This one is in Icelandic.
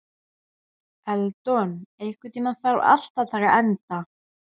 Eldon, einhvern tímann þarf allt að taka enda.